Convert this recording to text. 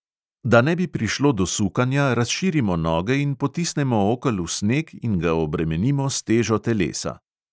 Da ne bi prišlo do sukanja, razširimo noge in potisnemo okel v sneg in ga obremenimo s težo telesa.